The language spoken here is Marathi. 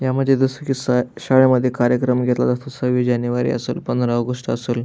या मध्ये जस की स शाळेमध्ये कार्यक्रम घेतला जातो सव्वीस जानेवारी असल पंधरा ऑगस्ट असल --